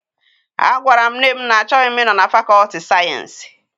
A gwara m nne m na-achọghị m ịnọ na fakọlti sayensị.